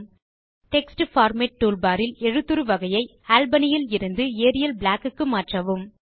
text format tool bar இல் எழுத்துரு வகையை அல்பனி இலிருந்து ஏரியல் பிளாக் க்கு மாற்றவும்